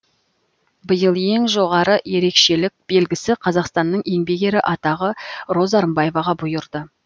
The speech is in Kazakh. биыл ең жоғары ерекшелік белгісі қазақстанның еңбек ері атағы роза рымбаеваға бұйырды